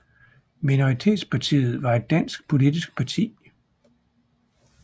Minoritetspartiet var et dansk politisk parti